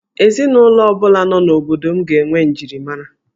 Ezinụlọ ọ bụla nọ n'obodo m ga-enwe njirimara